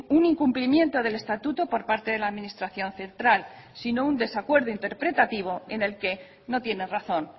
un incumplimiento del estatuto por parte de la administración central sino un desacuerdo interpretativo en el que no tiene razón